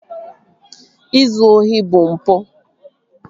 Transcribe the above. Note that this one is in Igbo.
Ịzụ ohi bụ mpụ